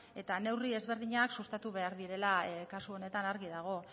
eta neurri desberdinak sustatu behar direla kasu honetan argi dago